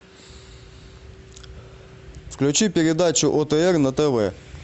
включи передачу отр на тв